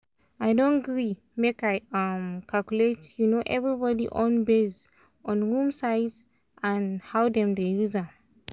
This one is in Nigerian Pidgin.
i don gree make i um calculate um everybody own based on room size and how dem use am.